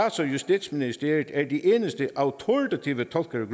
justitsministeriet er de eneste autoritative tolkere af